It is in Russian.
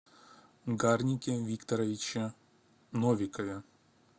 гарнике викторовиче новикове